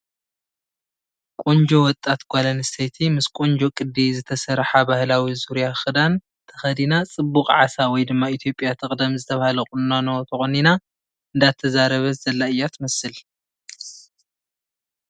ቖንጆ ወጣት ጓል ኣነስተይቲ ምስ ቖንጆ ቕዲ ዝተሰርሓ ባህላዊ ዙርያ ኽዳን ተኸዲና ፅቡቕ ዓሳ ወይ ድማ ኢ/ያ ትቕደም ዝተበሃለ ቕቑኖ ተቖኒና እንዳዛረበት ዘላ እያ ትመስል ።